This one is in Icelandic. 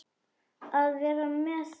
Að vera með þeim.